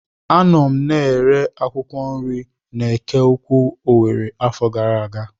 A nọ m na-ere akwụkwọ nri n'Eke Ukwu Owere afọ gara aga.